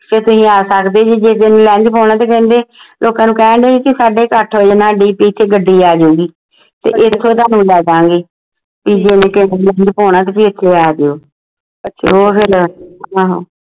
ਤੁਸੀਂ ਆ ਸਕਦੇ ਸੀ ਜੇ ਤੁਸੀਂ lens ਪੁਵਾਨਾ ਤਾਂ ਕਹਿੰਦੇ ਲੋਕਾਂ ਨੂੰ ਕਹਿਣ ਢੇ ਸੀ ਸਾਡੇ ਕੁ ਅੱਠ ਵਜੇ ਨਾ DP ਚ ਗੱਡੀ ਆ ਜਾਊਗੀ ਤੇ ਇਥੋਂ ਹੀ ਤੁਹਾਨੂੰ ਲੈ ਦਾਂਗੇ ਜੇ ਕਿਸੇ ਨੇ ਪਵਾਉਣਾ ਤੁਸੀਂ ਇਥੇ ਆ ਜਾਓ ਤੇ ਉਹ ਫੇਰ ਆਹੋ